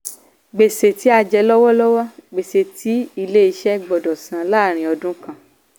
gbèsè tí a jẹ lọ́wọ́lọ́wọ́: gbèsè tí ilé iṣẹ́ gbọ́dọ̀ san láàrín ọdún kan.